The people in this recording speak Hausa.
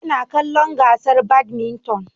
Ina kallon gasar badminton